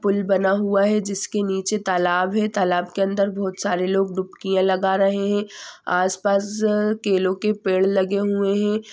पुल बना हुआ है जिसके नीचे तालाब है तालाब के अंदर बहोत सारे लोग डुबकियां लगा रहे है आस पास केलो के पेड़ लगे हुए है।